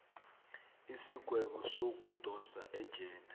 isigwebo sokudosa ejele